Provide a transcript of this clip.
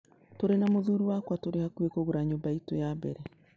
Tũrĩ na mũthuri wakwa tũrĩ hakuhĩ kũgũra nyũmba itũ ya mbere.